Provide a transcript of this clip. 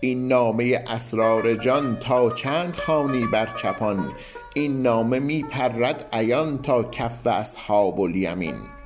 این نامه اسرار جان تا چند خوانی بر چپان این نامه می پرد عیان تا کف اصحاب الیمین